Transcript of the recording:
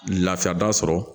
Lafiyaba sɔrɔ